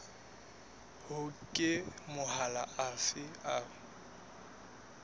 hore ke mahola afe a